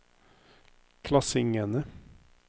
klassingene